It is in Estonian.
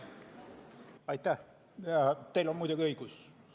Teil on muidugi õigus.